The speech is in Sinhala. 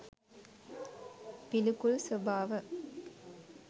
පිළිකුල් ස්වභාව